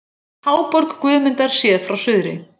Háborg Guðmundar séð frá suðri.